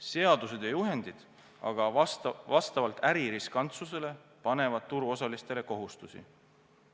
Seadused ja juhendid aga vastavalt äri riskantsusele panevad turuosalistele kohustusi.